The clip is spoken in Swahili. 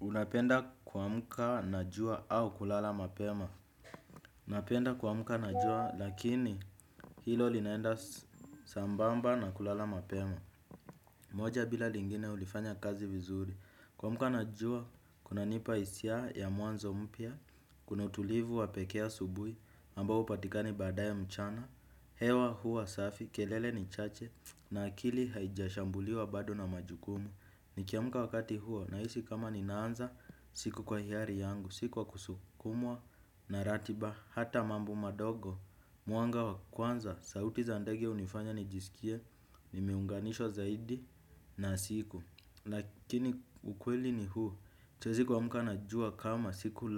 Unapenda kuamka na jua au kulala mapema napenda kuamka na jua lakini hilo linaenda sambamba na kulala mapema moja bila lingine ulifanya kazi mzuri kuamka na jua kunanipa hisia ya mwanzo mpya. Kuna utulivu wa pekee asubui ambao upatika badaye mchana. Hewa huwa safi, kelele ni chache na akili haijashambuliwa bado na majukumu. Ni kiamka wakati huo na hisi kama ninaanza siku kwa hiari yangu. Siku wa kusukumwa na ratiba, hata mambo madogo, mwanga wa kwanza. Sauti za ndege hunifanya nijisikie, nime unganishwa zaidi na siku. Lakini ukweli ni huo, siezi kuamka na jua kama siku